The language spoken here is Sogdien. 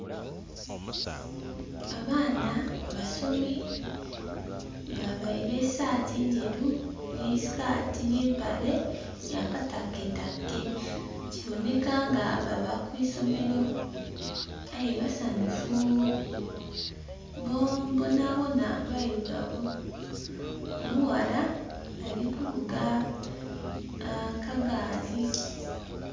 Abaana basomi baveire sati ndheru ne sikati ne mpale ya katake take kiboneka nga bava kwisomero aye basanhufu bonabona beirugavu, omughala ali kuvuga akagaali.